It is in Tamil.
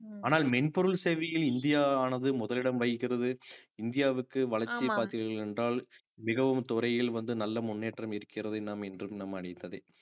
ஆனால் மென்பொருள் சேவையில் இந்தியாவானது முதலிடம் வகிக்கிறது இந்தியாவுக்கு வளர்ச்சி பார்த்தீர்கள் என்றால் மிகவும் துறையில் வந்து நல்ல முன்னேற்றம் இருக்கிறது என்றும் நாம் அறிந்ததே